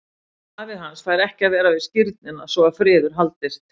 Afi hans fær ekki að vera við skírnina svo að friður haldist.